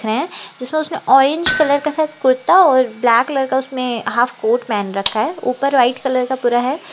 हैं जिस पर उसने ऑरेंज कलर के शायद कुर्ता और ब्लैक कलर का उसमें हाफ कोट पहन रखा है ऊपर व्हाइट कलर का पूरा है।